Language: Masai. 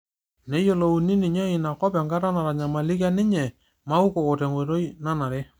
neyolouni ninye inakop enkata natanyamalikia ninye Maukoko tenkooitoi nanare